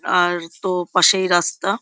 আর তো পাশেই রাস্তা ।